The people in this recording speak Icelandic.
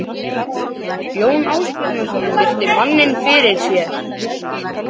Jón Ásbjarnarson virti manninn fyrir sér.